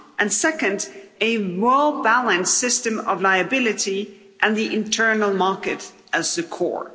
and, second, a well-balanced system of liability, and the internal market as the core.